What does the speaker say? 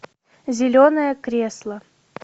зеленое кресло